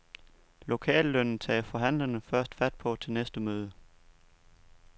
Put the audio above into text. Lokallønnen tager forhandlerne først fat på til næste møde.